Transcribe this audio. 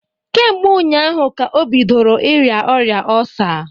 Kemgbe ụnyaahụ ka o bidoro ịrịa ọrịa ọlsa